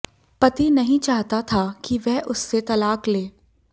पति नहीं चाहता था कि वह उससे तलाक ले